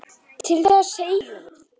Til þess segjum við.